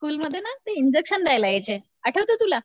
School मध्ये ना ते इंजेक्शन द्यायला यायचे आठवत तुला?